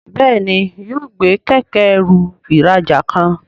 Béèni yóò gbé Kẹ̀kẹ́-ẹrù ìrajà kan.